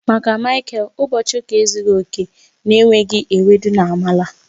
Maka Michael, ụbọchị ụka ezughị oke na-enweghị ewedu na amala.